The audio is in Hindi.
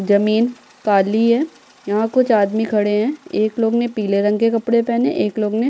जमीन काली है यहाँ कुछ आदमी खड़े हैं एक लोग ने पीले रंग के कपड़े पहने एक लोग ने --